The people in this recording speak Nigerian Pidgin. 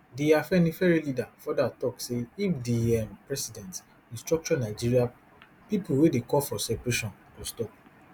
di afenifere leader further tok say if di um president restructure nigeria pipo wey dey call for separation go stop